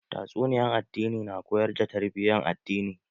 Tatsuniyan addini na koyar da tarbiyan addini